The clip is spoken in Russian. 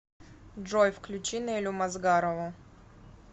джой включи нелю мазгарову